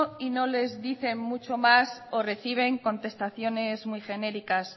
y no les dicen mucho más o reciben contestaciones muy genéricas